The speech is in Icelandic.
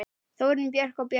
Þórunn Björk og Börkur.